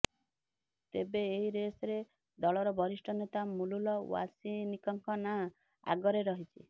ତେବେ ଏହି ରେସରେ ଦଳର ବରିଷ୍ଠ ନେତା ମୁଲୁଲ ୱାସନିକଙ୍କ ନାଁ ଆଗରେ ରହିଛି